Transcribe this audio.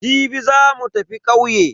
Jibi za mu tafi ƙauye.